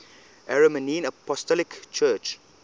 armenian apostolic church